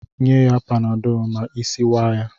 Nye ya panadọọlụ ma isi waa ya!